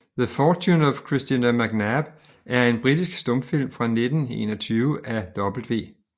The Fortune of Christina McNab er en britisk stumfilm fra 1921 af W